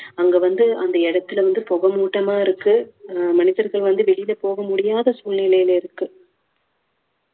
அங்க வந்து அந்த இடத்துல வந்து புகை மூட்டமா இருக்கு, அஹ் மனிதர்கள் வந்து வெலியில போக முடியாத சூழ்நிலையில இருக்கு